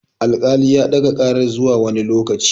Al-kali ya ɗaga karar zuwa wani lokaci